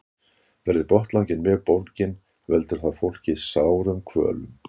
Verði botnlanginn mjög bólginn veldur það fólki sárum kvölum.